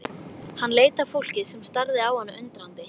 Hann leit á fólkið sem starði á hann undrandi.